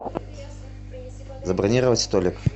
забронировать столик